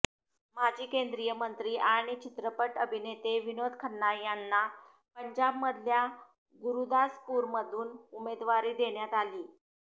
माजी केंद्रीय मंत्री आणि चित्रपट अभिनेते विनोद खन्ना यांना पंजाबमधल्या गुरुदासपूरमधून उमेदवारी देण्यात आलीय